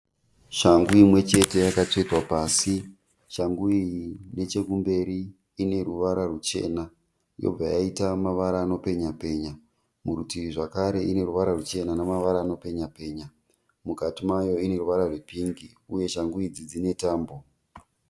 Shangu imwechete yakatsvetwa pasi. Shangu iyi nechekumberi ineruvara ruchena yobva yaita mavara anopenya-penya, muritivi zvakare ineruvara rwuchena nemavara anopenya-penya. Mukati mayo ineruvara rwepingi uye shangu idzi dzinetambo.